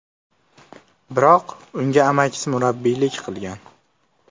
Biroq unga amakisi murabbiylik qilgan.